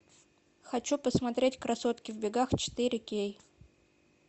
хочу посмотреть красотки в бегах четыре кей